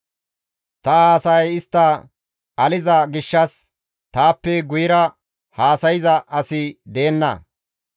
Ta haasayay istta aliza gishshas taappe guyera haasayza asi deenna.